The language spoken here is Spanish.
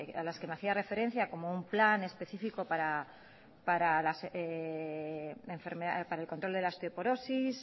a las que me hacía referencia como un plan específico para el control de la osteoporosis